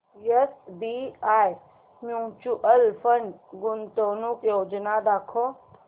SBI mutual fund गुंतवणूक योजना दाखव